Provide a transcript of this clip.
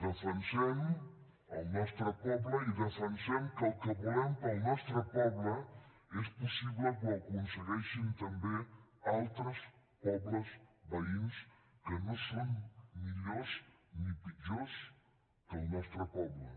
defensem el nostre poble i defensem que el que volem per al nostre poble és possible que ho aconsegueixin també altres pobles veïns que no són millors ni pitjors que el nostre poble